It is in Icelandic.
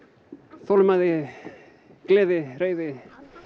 þolinmæði gleði reiði